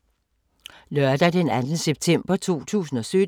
Lørdag d. 2. september 2017